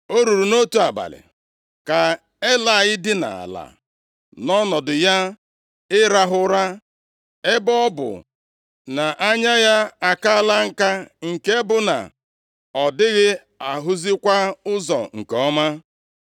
O ruru nʼotu abalị, ka Elayị dinara ala nʼọnọdụ ya ịrahụ ụra, ebe ọ bụ na anya ya akala nka nke bụ na ọ dịghị ahụzikwa ụzọ nke ọma.